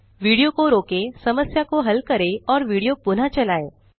video को रोकें समस्या को हल करें और विडियो पुनः चलाएँ